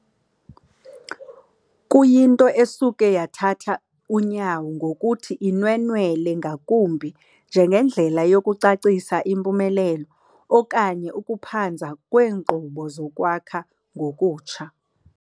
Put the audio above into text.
kuyinto esuke yathatha unyawo ngokuthi inwenwele ngakumbi njengendlela yokucacisa impumelelo okanye ukuphanza kweenkqubo zokwakha ngokutsha.